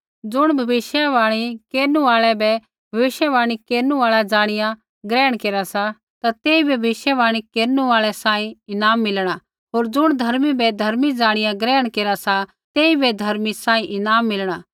ज़ुण भविष्यवाणी केरनु आल़ा बै भविष्यवाणी केरनु आल़ा ज़ाणिया ग्रहण केरा सा तेइबै भविष्यवाणी केरनु आल़ा सांही ईनाम मिलणा होर ज़ुण धर्मी बै धर्मी ज़ाणिया ग्रहण केरा सा तेइबै धर्मी सांही ईनाम मिलणा